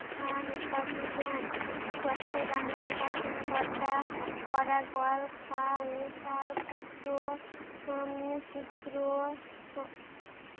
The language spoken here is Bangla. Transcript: খান উপাধি দেন চট্টগ্রামের শাসন কর্তা পরাগল খা ও তার পুত্র উম পুত্র